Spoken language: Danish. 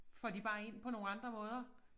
Får de bare ind på nogle andre måder